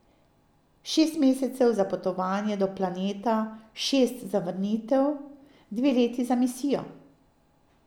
Šest mesecev za potovanje do planeta, šest za vrnitev, dve leti za misijo.